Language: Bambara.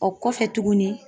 O kɔfɛ tugunni.